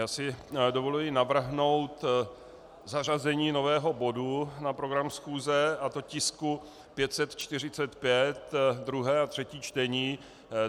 Já si dovoluji navrhnout zařazení nového bodu na program schůze, a to tisku 545, druhé a třetí čtení.